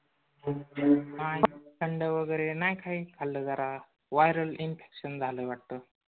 नाही थंड वगरे नाही काही खाल्ल. जरा viral infection झालंय वाटतं.